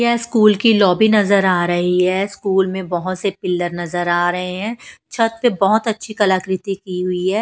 School की lobby नजर आ रही है स्कूल में बहुत से पिलर नजर आ रहे हैं छत पे बहुत अच्छी कलाकृति की हुई है।